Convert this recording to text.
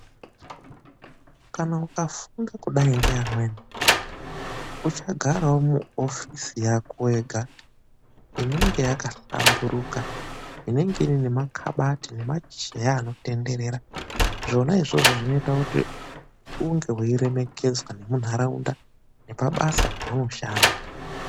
Kana ukafunda kudai ngevamweni uchagarawo muofisi yako wega inenge yakanamburuka inenge ine Makabati nemacheya anotenderera zvona izvozvo zvinoite kuti unge unoremekedzwa mundaraunda nepabasa paunoshanda.